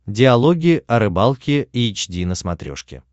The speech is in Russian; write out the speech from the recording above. диалоги о рыбалке эйч ди на смотрешке